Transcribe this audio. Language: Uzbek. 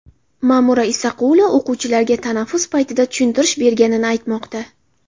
Ma’mura Isaqulova o‘quvchilarga tanaffus paytida tushuntirish berganini aytmoqda.